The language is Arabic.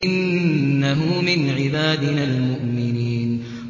إِنَّهُ مِنْ عِبَادِنَا الْمُؤْمِنِينَ